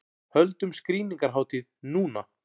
Höldum skrýningarhátíð núna!